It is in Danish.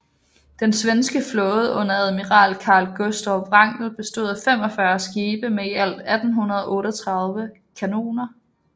Den svenske flåde under admiral Carl Gustav Wrangel bestod af 45 skibe med i alt 1838 kanoner